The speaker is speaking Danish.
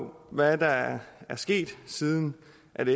på hvad der er sket siden